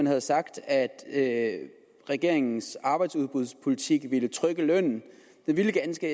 har sagt at regeringens arbejdsudbudspolitik vil trykke lønnen den vil ganske